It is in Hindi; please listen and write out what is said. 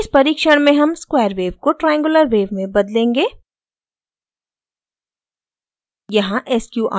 इस परिक्षण में हम square wave को triangular wave में बदलेंगे